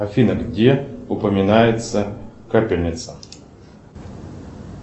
афина где упоминается капельница